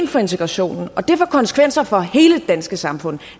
for integrationen og det får konsekvenser for hele det danske samfund